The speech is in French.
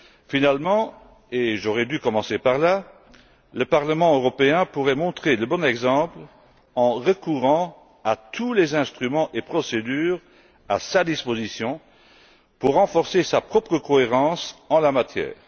Finalement, et j'aurais dû commencer par là, le Parlement européen pourrait montrer le bon exemple en recourant à l'ensemble des instruments et des procédures à sa disposition pour renforcer sa propre cohérence en la matière.